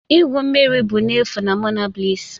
igwu mmiri bụ n'efu na Monabliss'